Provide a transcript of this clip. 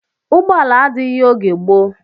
Ụgbọala adịghị oge gboo